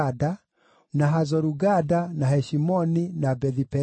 na Hazoru-Gada, na Heshimoni, na Bethi-Peletu,